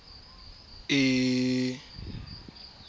e ne e se bo